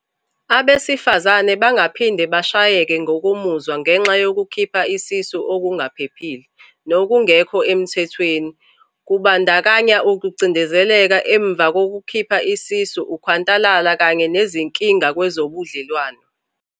"Abesifazane bangaphinde bashayeke ngokomuzwa ngenxa yokukhipha isisu okungaphephile, nokungekho emthethweni, okubandakanya ukucindezeleka emva kokukhipha isisu, ukhwantalala kanye nezinkinga kwezobudlelwano."